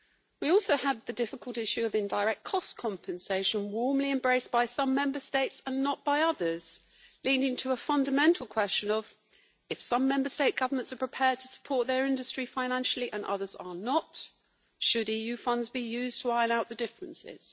We also had the difficult issue of indirect cost compensation, warmly embraced by some Member States and not by others, leading to a fundamental question as to whether, if some Member State governments are prepared to support their industry financially and others are not, EU funds should be used to iron out the differences.